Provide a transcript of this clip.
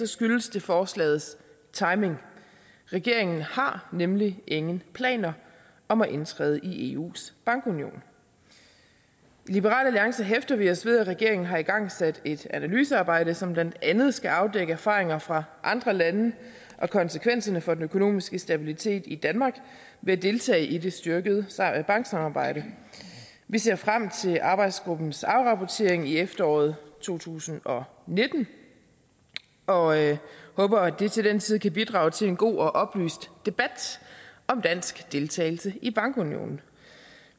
skyldes det forslagets timing regeringen har nemlig ingen planer om at indtræde i eus bankunion i liberal alliance hæfter vi os ved at regeringen har igangsat et analysearbejde som blandt andet skal afdække erfaringer fra andre lande og konsekvenserne for den økonomiske stabilitet i danmark ved at deltage i det styrkede banksamarbejde vi ser frem til arbejdsgruppens afrapportering i efteråret to tusind og nitten og håber at det til den tid kan bidrage til en god og oplyst debat om dansk deltagelse i bankunionen